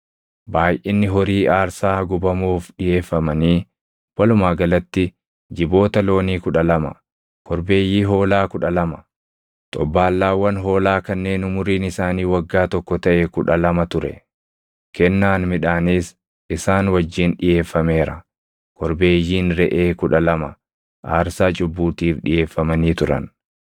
Baayʼinni horii aarsaa gubamuuf dhiʼeeffamanii walumaa galatti jiboota loonii kudha lama, korbeeyyii hoolaa kudha lama, xobbaallaawwan hoolaa kanneen umuriin isaanii waggaa tokko taʼe kudha lama ture; kennaan midhaaniis isaan wajjin dhiʼeeffameera. Korbeeyyiin reʼee kudha lama aarsaa cubbuutiif dhiʼeeffamanii turan.